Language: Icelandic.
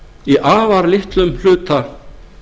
í afar litlum hluta